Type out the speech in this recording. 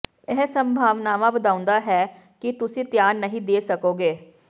ਇਹ ਸੰਭਾਵਨਾਵਾਂ ਵਧਾਉਂਦਾ ਹੈ ਕਿ ਤੁਸੀਂ ਧਿਆਨ ਨਹੀਂ ਦੇ ਸਕੋਗੇ